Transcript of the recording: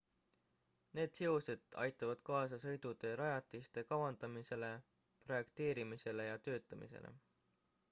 need seosed aitavad kaasa sõidutee rajatiste kavandamisele projekteerimisele ja töötamisele